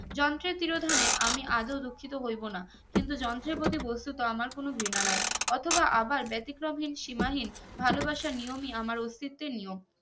যন্ত্রের তিরোধানে আমি আদেও দুঃখিত হইবো না কিন্তু যন্ত্রের প্রতি বস্তুত আমার কোনো ঘৃণা নাই অথবা আবার ব্যতিক্রম হিন সিমা হিন ভালোবাসার নিয়ম ই আমার অস্তিত্বের নিয়ম